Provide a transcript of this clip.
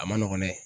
A ma nɔgɔn dɛ